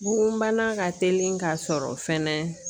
Bugun bana ka telin ka sɔrɔ fɛnɛ